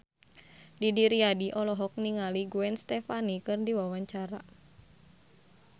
Didi Riyadi olohok ningali Gwen Stefani keur diwawancara